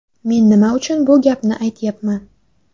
Men nima uchun bu gapni aytyapman?